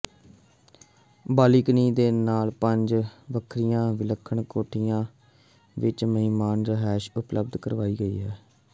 balcony ਦੇ ਨਾਲ ਪੰਜ ਵੱਖਰੀਆਂ ਵਿਲੱਖਣ ਕੋਠੜੀਆਂ ਵਿੱਚ ਮਹਿਮਾਨ ਰਿਹਾਇਸ਼ ਉਪਲਬਧ ਕਰਵਾਈ ਗਈ ਹੈ